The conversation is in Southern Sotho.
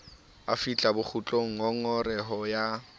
a fihlang bokgutlong ngongoreho ya